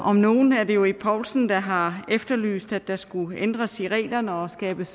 om nogen er det jo ib poulsen der har efterlyst at der skulle ændres i reglerne og skabes